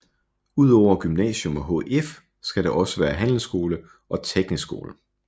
Udover gymnasium og HF skal der også være handelsskole og teknisk skole